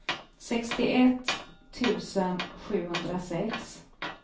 sextioett tusen sjuhundrasex